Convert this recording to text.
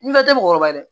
N bɛɛ tɛ mɔgɔkɔrɔba ye dɛ